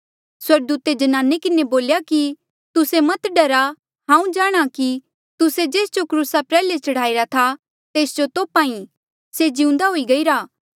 स्वर्गदूते ज्नाने किन्हें बोल्या कि तुस्से मत डरा हांऊँ जाणहां कि तुस्से जेस जो क्रूसा प्रयाल्हे चढ़ाईरा था तेस जो तोप्हा ई से जिउंदा हुई गईरा